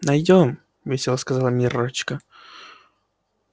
найдём весело сказала миррочка